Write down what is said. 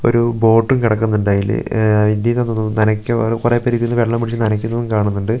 ഒരു ബോട്ടും കെടക്കുന്നുണ്ടയില് ആഹ് ആന്ന് തോന്നുന്നു നനക്കു കൊറേ പേരിതീന്നു വെള്ളമൊഴിച്ച് നനക്കുന്നതും കാണുന്നൊണ്ട് ഒരു--